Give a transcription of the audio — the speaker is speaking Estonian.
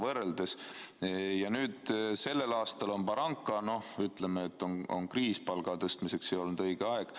Kuid nüüd sellel aastal on baranka: me ütleme, et on kriis, palga tõstmiseks ei olnud õige aeg.